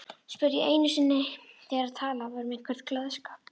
spurði ég einu sinni þegar talað var um einhvern gleðskap.